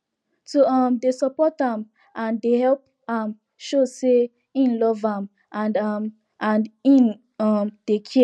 to um dey support am and dey help am show say im love am and am and im um dey care